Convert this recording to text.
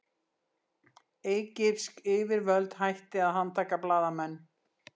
Egypsk yfirvöld hætti að handtaka blaðamenn